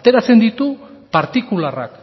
ateratzen ditu partikularrak